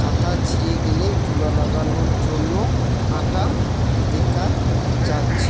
পাতা ছিঁড়ে গেলে জোড়া লাগানোর জন্য আটা দেখা যাচ্ছে।